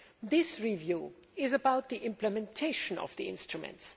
The review is about the implementation of the instruments.